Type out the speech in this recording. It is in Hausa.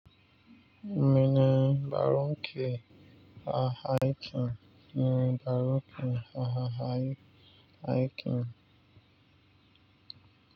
Mene Baronke A.A.K mene Baronke A.A.A.K